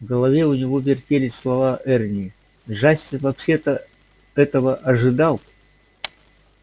в голове у него вертелись слова эрни джастин вообще-то этого ожидал